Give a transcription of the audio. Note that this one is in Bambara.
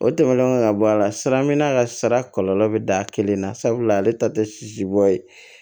O tɛmɛnen kɔ ka bɔ a la sira min b'a ka sara kɔlɔlɔ bɛ da a kelen na sabula ale ta tɛ sisi bɔ ye